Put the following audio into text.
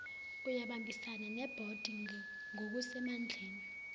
uyabambisana nebhodi ngokusemandleni